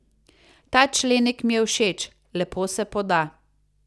Ta členek mi je všeč, lepo se poda.